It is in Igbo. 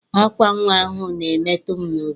Ákwá nnwa ahụ na-emetụ m n'obi.